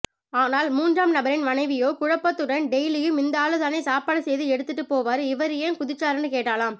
ஆனால் மூன்றாம் நபரின் மனைவியோ குழப்பத்துடன் டெய்லியும் இந்தாளுதானே சாப்பாடு செய்து எடுத்துட்டு போவாரு இவரு ஏன் குதிச்சாருன்னு கேட்டாளாம்